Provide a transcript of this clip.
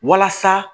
Walasa